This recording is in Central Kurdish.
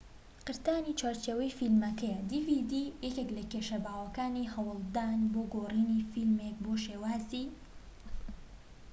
یەکێك لە کێشە باوەکانی هەوڵدان بۆ گۆڕینی فلیمێك بۆ شێوازی dvd قرتانی چوارچێوەی فلیمەکەیە